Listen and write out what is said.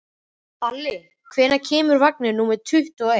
Ali, hvenær kemur vagn númer tuttugu og eitt?